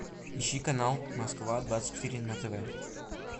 ищи канал москва двадцать четыре на тв